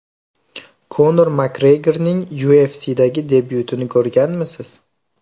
Konor Makgregorning UFC’dagi debyutini ko‘rganmisiz?